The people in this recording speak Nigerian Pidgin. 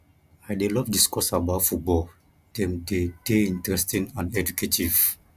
i dey love discuss about football dem dey dey interesting and educative